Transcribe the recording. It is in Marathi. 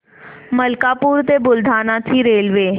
मलकापूर ते बुलढाणा ची रेल्वे